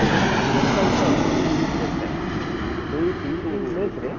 ସାତପଡ଼ା ଗୋଟେ ଅଛି place sir |ସେଇ place ରେ